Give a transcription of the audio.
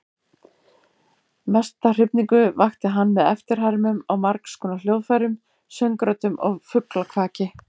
Mesta hrifningu vakti hann með eftirhermum á margskonar hljóðfærum, söngröddum og fuglakvaki.